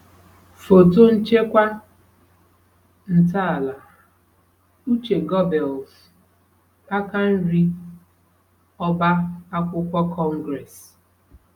Foto Nchekwa Ntaala; Uche Göbbels, aka nri: Ọbá akwụkwọ Congress